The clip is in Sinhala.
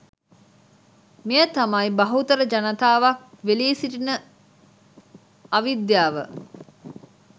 මෙය තමයි, බහුතර ජනතාවක් වෙලී සිටින අවිද්‍යාව.